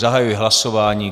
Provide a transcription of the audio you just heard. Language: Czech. Zahajuji hlasování.